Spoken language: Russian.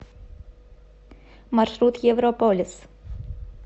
маршрут европолис